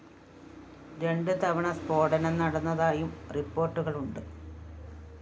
രണ്ട് തവണ സ്‌ഫോടനം നടന്നതായും റിപ്പോര്‍ട്ടുകളുണ്ട്